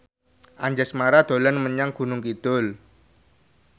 Anjasmara dolan menyang Gunung Kidul